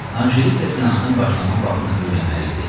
Anjelika seansın başlanma vaxtını öyrənməli idi.